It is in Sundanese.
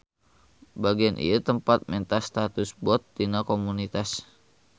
Bagean ieu tempat menta status bot ti komunitas.